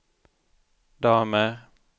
damer